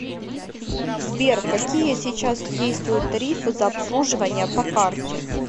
сбер какие сейчас действуют тарифы за обслуживание по карте